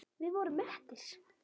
Við vorum mettir.